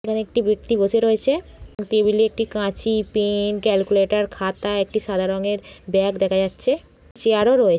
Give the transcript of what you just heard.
এইখানে একটি ব্যক্তি বসে রয়েছে। টেবিলে একটি কাঁচি পেন ক্যালকুলেটর খাতা একটি সাদা রংয়ের ব্যাগ দেখা যাচ্ছে। চেয়ার ও রয়ে--